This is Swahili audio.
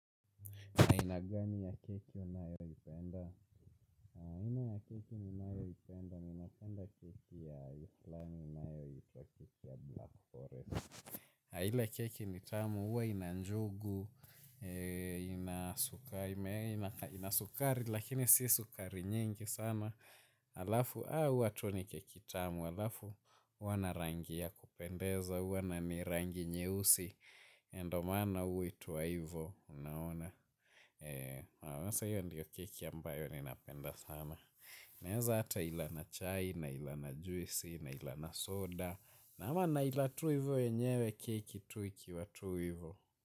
Aina gani ya keki unayoipenda? Aina ya keki ninayoipenda, ninapenda keki ya fulani ya keki inayoitwa blackforest. Ile keki ni tamu, huwa ina njugu ina sukari, lakini si sukari nyingi sana. Halafu, haa huwa tu ni keki tamu, halafu, huwa na rangi ya kupendeza, huwa na ni rangi nyeusi. Na ndio maana huitwa hivyo, unaona. Sasa hiyo ndiyo keki ambayo ninapenda sana naeza hata ila na chai, naila na juisi, naila na soda. Na huwa naila tu hivyo yenyewe keki tu ikiwa tu hivyo.